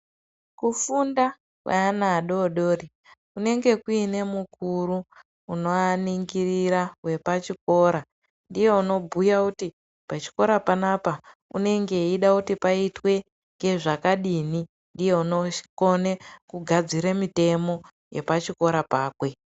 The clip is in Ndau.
Kufunda kweana adoodori kunenge kuine mukuru unoaningirira wepachikora. Ndiye unobhuya kuti pachikora panapa unenge echida kuti paitwe zvakadini. Ndiye unogadzire mitemo yepachikora pakwe.